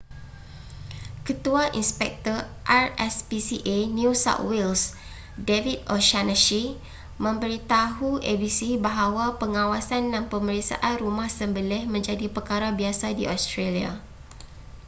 ketua inspektor rspca new south wales david o'shannessy memberitahu abc bahawa pengawasan dan pemeriksaan rumah sembelih menjadi perkara biasa di australia